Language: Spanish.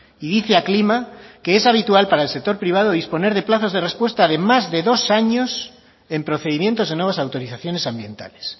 y dice aclima que es habitual para el sector privado disponer de plazos de respuesta de más de dos años en procedimientos de nuevas autorizaciones ambientales